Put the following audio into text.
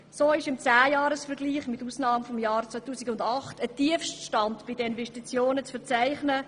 So ist mit Ausnahme des Jahres 2008 im Zehnjahresvergleich ein Tiefststand bei den Investitionen zu verzeichnen.